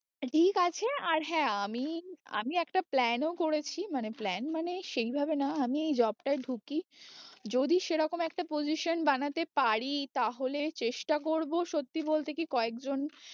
ঠিক আছে আর হ্যাঁ আমি, আমি একটা plan ও করেছি মানে plan মানে সেই ভাবে না আমি এই job টায়ে ঢুকি যদি সেরকম একটা position বানাতে পারি তাহলে চেষ্টা করবো, সত্যি বলতে কি কয়েকজন